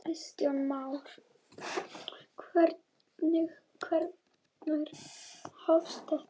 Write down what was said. Kristján Már: Hvenær hófst þetta?